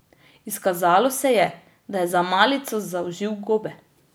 Izkazalo se je, da je za malico zaužil gobe.